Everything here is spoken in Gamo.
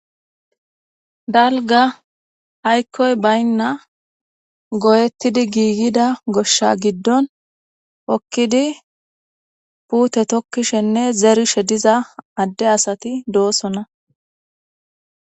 dalga aykkoy baynna goyettidi giigida goshsha giddon okkidi puute tokkishenne zerishe diza adde asati doosona